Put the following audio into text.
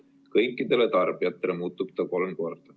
Kõikidele tarbijatele muutub ta kolm korda.